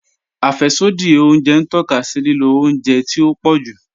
Afẹ́ṣodì ọ̀unjẹ n tọka sí lílò ọ̀unjẹ tí o pọ̀ jù.